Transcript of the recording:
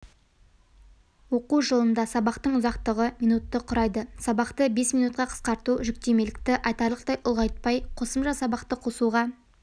оқу жылында сабақтың ұзақтығы минутты құрайды сабақты бес минутқа қысқарту жүктемелікті айтарлықтай ұлғайтпай қосымша сабақты қосуға